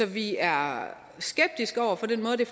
vi er skeptiske over